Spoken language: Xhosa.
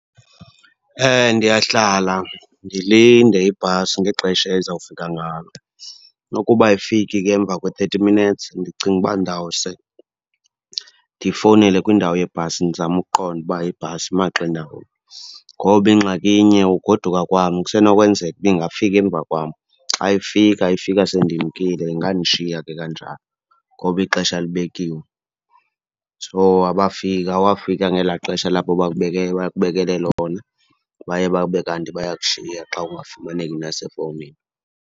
Ndiyahlala ndilinde ibhasi ngexesha ezawufika ngalo. Nokuba ayifiki ke emva kwe-thirty minutes, ndicinga uba ndawuse ndifowunele kwindawo yeebhasi ndizame ukuqonda uba ibhasi imaxa indawoni. Ngoba ingxaki inye, ugoduka kwam kusenokwenzeka uba ingafika emva kwam. Xa ifika, ifika sendimkile. Ingandishiya ke kanjalo, ngoba ixesha libekiwe. So, abafika, awafika ngelaa xesha labo bakubekele lona, baye babe kanti bayakushiya xa ungafumaneki nasefowunini.